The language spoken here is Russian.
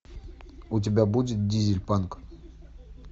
у тебя будет дизельпанк